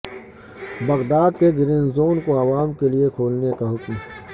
Baghdad کے green zone کو عوام کے لیے کھولنے کا حکم